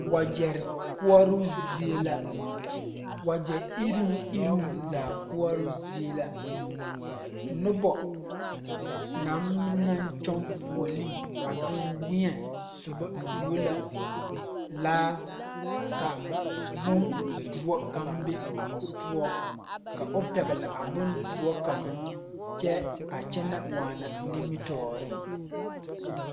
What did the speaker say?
Wagyɛrre koɔrɔɔ zie la wagyɛ iruŋiruŋ zaa koɔrɔɔ zie la nobɔ naŋ naŋ kyɔŋ fuolee a danwie sobɔ tuo la laa ka bondoɔ kaŋ be a o poɔ ka o pɛgle a bondoɔ kaŋa kyɛ a kyɛnɛ waana nimitooreŋ.